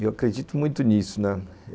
Eu acredito muito nisso, né.